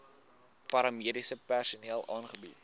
paramediese personeel aangebied